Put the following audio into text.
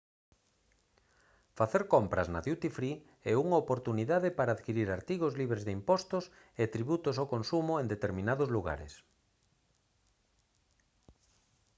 facer compras na duty free é unha oportunidade para adquirir artigos libres de impostos e tributos ao consumo en determinados lugares